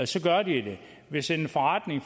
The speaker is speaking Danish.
så gør de det hvis en forretning